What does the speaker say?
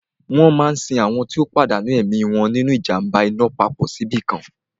Wọ́n máa sin àwọn tó pàdánù ẹ̀mí wọn nínu ìjàm̀ba iná papọ̀ síbìkan